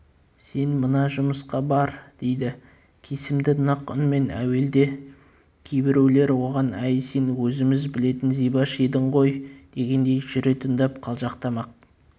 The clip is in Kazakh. сен мына жұмысқа бар дейді кесімді нық үнмен әуелде кейбіреулер оған әй сен өзіміз білетін зибаш едің ғой дегендей жүре тыңдап қалжақтамақ